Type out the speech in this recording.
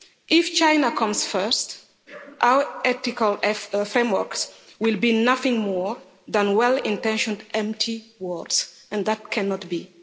If China comes first, our ethical frameworks will be nothing more than well intentioned empty words, and that cannot be.